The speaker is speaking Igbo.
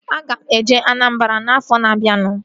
Aga m eje Anambara afọ na-abianu